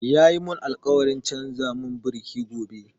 Ya mun alkawarin canza mun biriki gobe